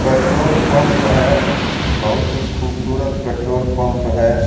Petrol pump है बहुत ही खूबसूरत पेट्रोल पंप है।